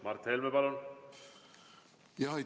Mart Helme, palun!